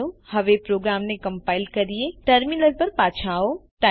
ચાલો હવે પ્રોગ્રામને કમ્પાઈલ કરીએ ટર્મિનલ પર પાછા આવો